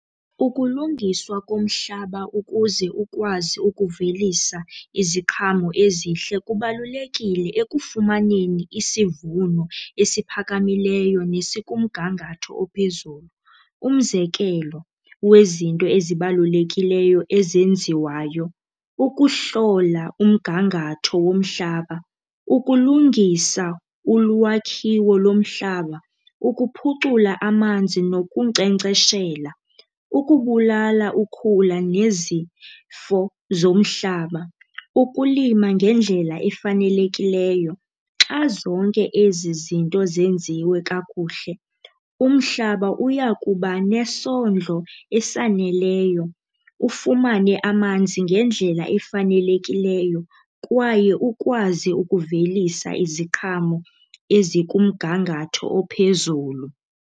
Ukulungiswa komhlaba ukuze ukwazi ukuvelisa iziqhamo ezihle kubalulekile ekufumaneni isivuno esiphakamileyo nesikumgangatho ophezulu. Umzekelo wezinto ezibalulekileyo ezenziwayo, ukuhlola umgangatho womhlaba, ukulungisa ulwakhiwo lomhlaba, ukuphucula amanzi nokunkcenkceshela, ukubulala ukhula nezifo zomhlaba, ukulima ngendlela efanelekileyo. Xa zonke ezi zinto zenziwe kakuhle, umhlaba uyakuba nesondlo esaneleyo, ufumane amanzi ngendlela efanelekileyo, kwaye ukwazi ukuvelisa iziqhamo ezikumgangatho ophezulu.